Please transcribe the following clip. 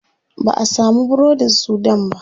Ba'a samu burodin sudan ba.